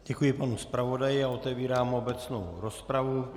Děkuji panu zpravodaji a otevírám obecnou rozpravu.